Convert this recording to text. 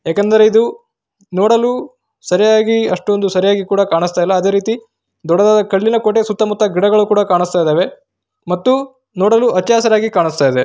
ಏಕೆಂದರೆ ಇದು ನೋಡಲು ಸರಿಯಾಗಿ ಅಷ್ಟೊಂದು ಸರಿಯಾಗಿ ಕೂಡ ಕಾಣಿಸ್ತಿಲ್ಲ ಅದೇ ರೀತಿ ದೊಡ್ಡದಾದ ಕಲ್ಲಿನ ಕೋಟೆಯ ಸುತ್ತಮುತ್ತ ಗಿಡಗಳು ಕೂಡ ಕಾಣಿಸ್ತಾ ಇದಾವೆ ಮತ್ತು ನೋಡಲು ಹಚ್ಚ ಹಸಿರಾಗಿ ಕಾಣಿಸ್ತಾ ಇದೆ.